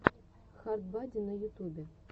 хард бади на ютубе